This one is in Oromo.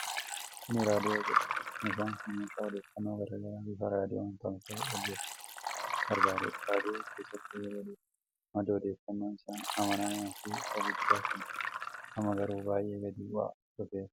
Kun raadiyoonii jedhama. Meeshaan kun meeshaa odeeffannoo garaa garaa bifa raadiyoon tamsa'u dhageeffachuuf gargaarudha. Raadiyoo keessattuu yeroo durii madda odeeffannoo isa amanamaa fi isa guddaa kan turedha. Amma garuu baay'ee gadi bu'aa dhufeera.